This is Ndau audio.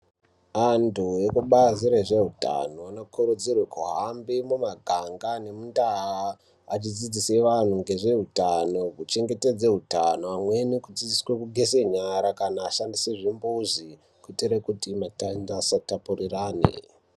Antu vekubazi rezvehutano anokurudzirwa kuhamba mumaganga nemundau achikurydzira vantu ngezvehutano kuchengetedza hutano kudzidziswa kugeza nyara kana asi zvimbuzi kuitira kuti usatapurirwana.